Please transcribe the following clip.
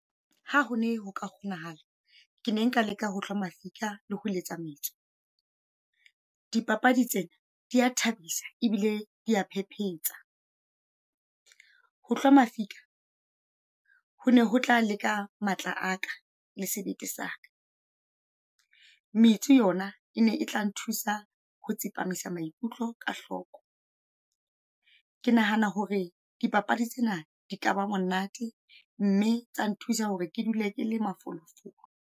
Ha ho ne ho ka kgonahala, ke ne nka leka ho hlwa mafika le ho letsa metso. Dipapadi tsena, di a thabisa ebile dia phephetsa. Ho hlwa mafika ho na ho tla leka matla aka le sebete saka. Metsi yona e ne e tla nthusa ho tsepamisa maikutlo ka hloko. Ke nahana hore dipapadi tsena di ka ba monate, mme tsa nthusa hore ke dule kele mafolofolo.